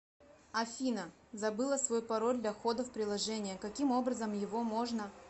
афина забыла свой пароль для входа в приложение каким образом его можно